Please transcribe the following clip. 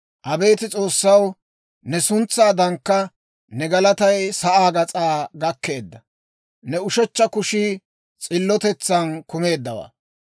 Abeet S'oossaw, ne suntsaadankka, ne galatay sa'aa gas'aa gakkeedda. Ne ushechcha kushii s'illotetsaan kumeeddawaa.